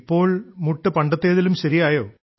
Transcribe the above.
ഇപ്പോൾ മുട്ട് പണ്ടത്തേതിലും ശരിയായോ